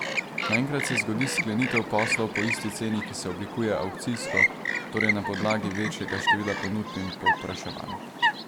Naenkrat se zgodi sklenitev poslov po isti ceni, ki se oblikuje avkcijsko, torej na podlagi večjega števila ponudb in povpraševanj.